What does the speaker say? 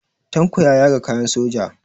Tanko ya yaga kayan soja.